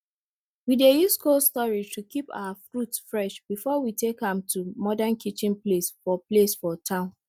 we dey use cold storage to keep our fruits fresh before we take am to modern kitchen place for place for town